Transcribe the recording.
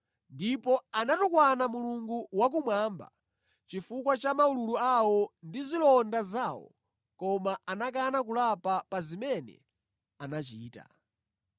Ndipo anatukwana Mulungu wakumwamba chifukwa cha maululu awo ndi zilonda zawo koma anakana kulapa pa zimene anachita.